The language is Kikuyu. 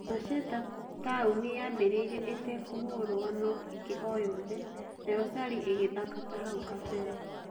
Masheta Taũni yaambĩrĩirie ĩtekũhũrwo no-ĩngĩ o-yothe, nayo Sali ĩgĩthaka tahau kabere.